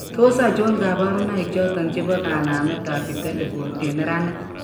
Tos achon kabarunaik choton chebo kanamet ab vitelliform en neranik ?